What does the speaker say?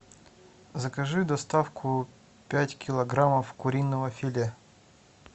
закажи доставку пять килограммов куриного филе